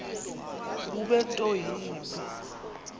bube nto yimbi